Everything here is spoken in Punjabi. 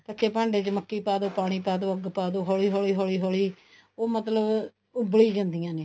ਕੱਚੇ ਭਾਂਡੇ ਚ ਮੱਕੀ ਪਾ ਦੋ ਪਾਣੀ ਪਾਦੋ ਅੱਗ ਪਾਦੋ ਹੋਲੀ ਹੋਲੀ ਹੋਲੀ ਹੋਲੀ ਉਹ ਮਤਲਬ ਉੱਬਲੀ ਜਾਂਦੀਆਂ ਨੇ